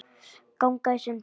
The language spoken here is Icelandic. ganga í sundur